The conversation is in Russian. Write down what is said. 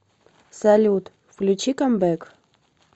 салют включи камбэк